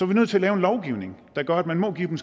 vi nødt til at lave en lovgivning der gør at man må give dem